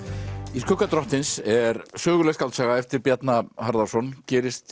í skugga drottins er söguleg skáldsaga eftir Bjarna Harðarson gerist